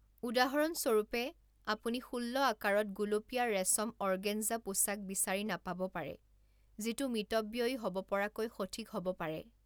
উদাহৰণস্বৰূপে, আপুনি ষোল্ল আকাৰত গুলপীয়া ৰেচম অৰ্গেঞ্জা পোছাক বিচাৰি নাপাব পাৰে, যিটো মিতব্যয়ী হ'ব পৰাকৈ সঠিক হ'ব পাৰে।